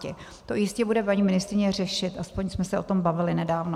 To jistě bude paní ministryně řešit, aspoň jsme se o tom bavili nedávno.